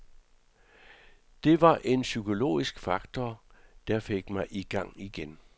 Det var en psykologisk faktor, der fik mig i gang igen.